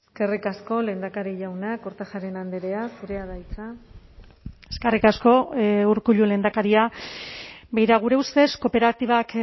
eskerrik asko lehendakari jauna kortajarena andrea zurea da hitza eskerrik asko urkullu lehendakaria begira gure ustez kooperatibak